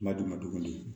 Ma duguma dugu di